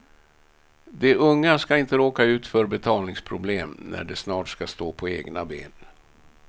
De unga ska inte råka ut för betalningsproblem när de snart ska stå på egna ben.